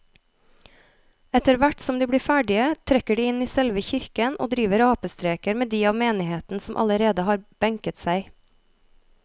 Etterthvert som de blir ferdige trekker de inn i selve kirken og driver apestreker med de av menigheten som allerede har benket seg.